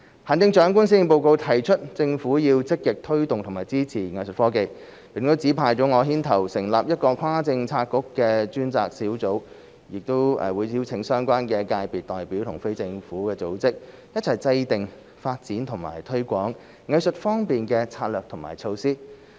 行政長官在施政報告提出政府要積極推動和支持藝術科技，並指派我牽頭成立一個跨政策局的專責小組，亦會邀請相關界別代表和非政府組織，一起制訂發展及推廣藝術科技的策略和措施。